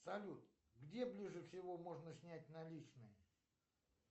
салют где ближе всего можно снять наличные